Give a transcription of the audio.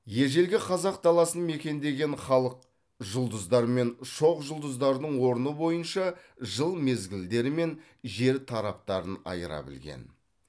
ежелгі қазақ даласын мекендеген халық жұлдыздар мен шоқжұлдыздардың орны бойынша жыл мезгілдері мен жер тараптарын айыра білген